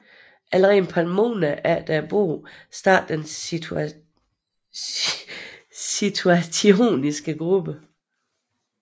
Allerede et par måneder efter bogen startede den Situationistiske gruppe